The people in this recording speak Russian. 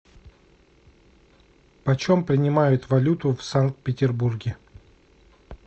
почем принимают валюту в санкт петербурге